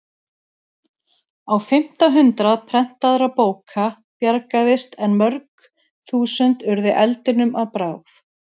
Á fimmta hundrað prentaðra bóka bjargaðist en mörg þúsund urðu eldinum að bráð.